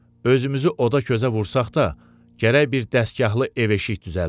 Özümüzü oda közə vursaq da, gərək bir dəstgahlı ev-eşik düzəldək.